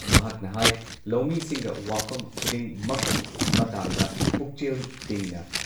ꯃꯍꯥꯥꯛꯅ ꯍꯥꯏ ꯂꯧꯃꯤꯁꯤꯡꯒ ꯋꯥꯐꯝ ꯈꯨꯗꯤꯡꯃꯛꯀꯤ ꯃꯇꯥꯡꯗ ꯄꯨꯛꯆꯦꯜ ꯇꯤꯡꯅ